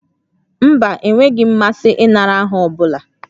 Mba, enweghị m mmasị ịnara aha ọ bụla